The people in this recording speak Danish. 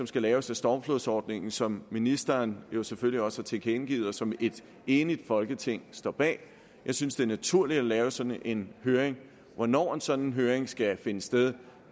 skal laves af stormflodsordningen som ministeren selvfølgelig også har tilkendegivet og som et enigt folketing står bag jeg synes det er naturligt at afholde sådan en høring hvornår en sådan høring skal finde sted